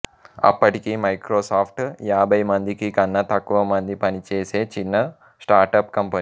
అప్పటికి మైక్రోసాఫ్ట్ యాభైమందికి కన్నా తక్కువ మంది పనిచేసే చిన్న స్టార్టప్ కంపెనీ